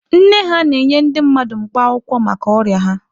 Nne ha na-enye ndị mmadụ mkpa akwụkwọ maka ọrịa ha.